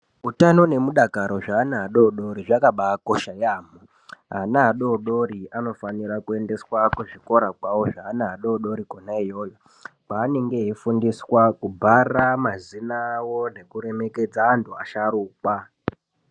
Utano nemudakaro zvevana vadoodori zvakabaa kosha yaemho, ana adoodori anofanira kuendeswa kuzvikora zvawo zveana adoodori kona iyoyo kwaanenge eifundiswa kubhara mazina awo nekuremekedza antu asharukwa.